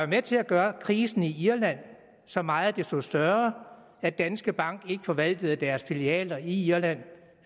med til at gøre krisen i irland så meget desto større at danske bank ikke forvaltede deres filialer i irland